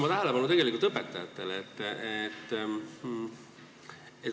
Aga ma juhin tähelepanu õpetajatele.